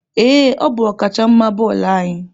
Ee, ọ bụ ọkachamma bọọlụ anyị.